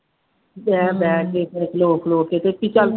ਬਹਿ ਬਹਿ ਕੇ, ਖਲੋ ਖਲੋ ਕੇ ਦੇਖੀ ਚੱਲ